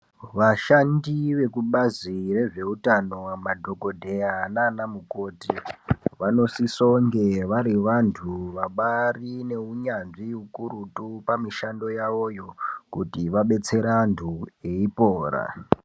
Vashandi vekubazi rezveutano madhokodheya nana mukoti vanosisonge vari vantu vabari neunyanzvi ukurutu pamishando yawoyo kuti vabetsere antu eipora.